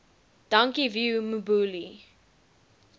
dankie vuyo mbuli